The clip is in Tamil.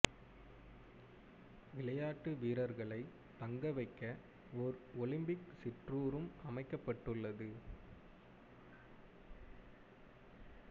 விளையாட்டு வீரர்களை தங்க வைக்க ஓர் ஒலிம்பிக் சிற்றூரும் அமைக்கப்பட்டது